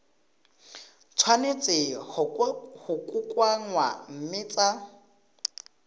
tshwanetse go kokoanngwa mme tsa